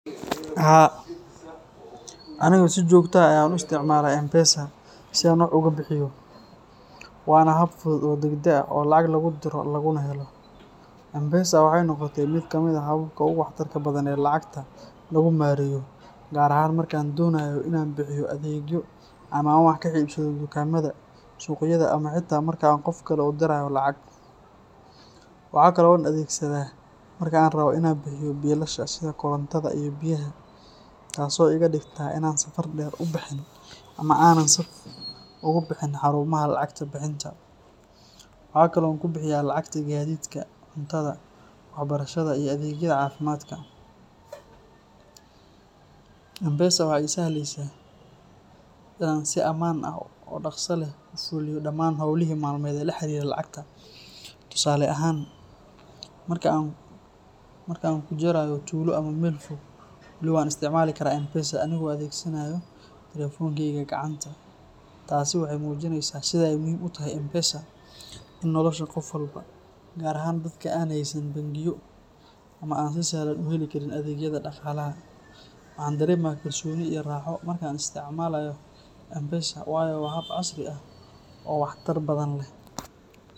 Haa, anigu si joogto ah ayaan u isticmaalaa M-pesa si aan wax uga bixiyo, waana hab fudud oo degdeg ah oo lacag lagu diro laguna helo. M-pesa waxay noqotay mid ka mid ah hababka ugu waxtarka badan ee lacagta lagu maareeyo, gaar ahaan marka aan doonayo in aan bixiyo adeegyo ama aan wax ka iibsado dukaamada, suuqyada, ama xitaa marka aan qof kale u dirayo lacag. Waxa kale oo aan adeegsadaa marka aan rabbo in aan bixiyo biilasha sida korontada iyo biyaha, taas oo iga dhigta in aanan safar dheer u bixin ama aanan saf ugu bixin xarumaha lacag bixinta. Waxaa kale oo aan ku bixiyaa lacagta gaadiidka, cuntada, waxbarashada, iyo adeegyada caafimaadka. M-pesa waxay ii sahlaysaa in aan si ammaan ah oo dhakhso leh ku fuliyo dhammaan howlihii maalmeed ee la xiriira lacagta. Tusaale ahaan, marka aan ku jirayo tuulo ama meel fog, wali waan isticmaali karaa M-pesa anigoo adeegsanaya taleefankeyga gacanta. Taasi waxay muujinaysaa sida ay muhiim u tahay M-pesa in nolosha qof walba, gaar ahaan dadka aan haysan bangiyo ama aan si sahlan u heli karin adeegyada dhaqaalaha. Waxaan dareemaa kalsooni iyo raaxo marka aan isticmaalayo M-pesa, waayo waa hab casri ah oo waxtar badan leh.